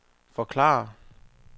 forklare